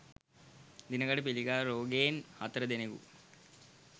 දිනකට පිළිකා රෝගයෙන් හතර දෙනකු